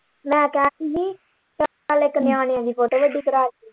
ਮੈਂ ਕਹਿਣ ਦੀ ਹੀ ਚੱਲ ਇੱਕ ਨਿਆਣਿਆਂ ਦੀ photo ਵੱਡੀ ਕਰਾ।